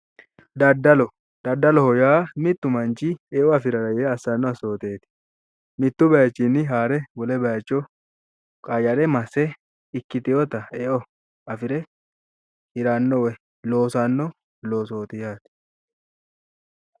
Daddaloho yaa mittu manchi eo afirara yee assanno assooteeti. mittu baayiichinni haare wole baayiicho qayyare masse hasirino eo afire hiranno woy loosanno loosooti yaate.